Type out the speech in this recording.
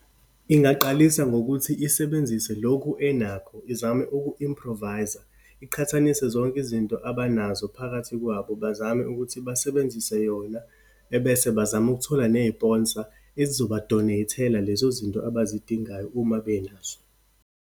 Ingaqalisa ngokuthi isebenzise lokhu enakho, izame uku-improvise-a. Iqhathanise zonke izinto abanazo phakathi kwabo, bazame ukuthi basebenzise yona. Ebese bazame ukuthola neyiponsa ezizoba-donate-thela lezo zinto abazidingayo uma benazo.